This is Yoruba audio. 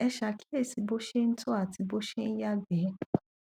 ẹ ṣàkíyèsí bó ṣe ń tọ àti bó ṣe ń yàgbẹ